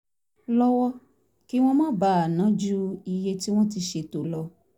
lọ́wọ́ kí wọ́n má bàa ná ju iye tí wọ́n ti ṣètò lọ